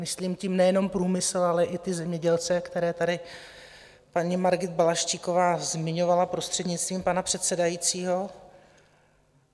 Myslím tím nejenom průmysl, ale i ty zemědělce, které tady paní Margit Balaštíková zmiňovala, prostřednictvím pana předsedajícího.